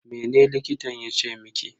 Mene likitan yace miki?